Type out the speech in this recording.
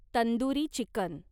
tandoori chicken